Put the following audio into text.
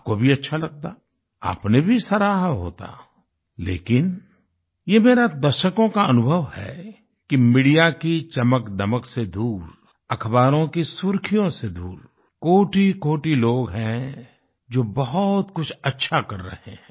आपको भी अच्छा लगता आपने भी सराहा होता लेकिन ये मेरा दशकों का अनुभव है कि मीडिया की चमकदमक से दूर अख़बारों की सुर्ख़ियों से दूर कोटिकोटि लोग हैं जो बहुत कुछ अच्छा कर रहे हैं